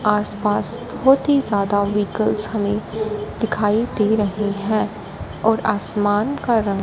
आसपास बहुत ही ज्यादा वेहीकल्स हमें दिखाई दे रही है और आसमान का रंग --